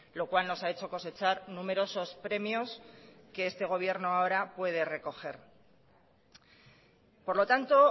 lo cual nos ha hecho cosechar numerosos premios que este gobierno ahora puede recoger por lo tanto